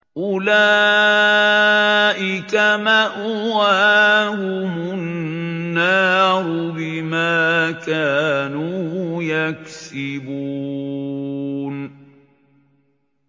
أُولَٰئِكَ مَأْوَاهُمُ النَّارُ بِمَا كَانُوا يَكْسِبُونَ